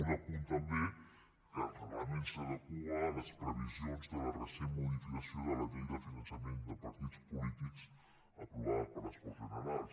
un apunt també que el reglament s’adequa a les previsions de la recent modificació de la llei de finançament de partits polítics aprovada per les corts generals